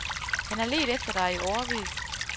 Han har ledt efter dig i årevis.